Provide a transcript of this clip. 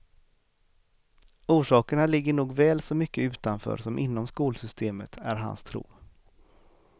Orsakerna ligger nog väl så mycket utanför som inom skolsystemet, är hans tro.